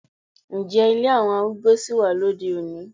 Ǹjẹ́ ilé àwọn arúgbó sì wà lóde-òní?